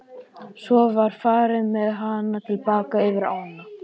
Svo var farið með hana til baka yfir ána.